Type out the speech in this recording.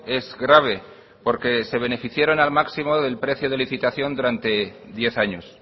es grave porque se beneficiaron al máximo del precio de licitación durante diez años